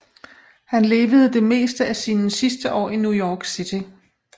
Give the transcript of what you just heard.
Han levede det meste af sine sidste år i New York City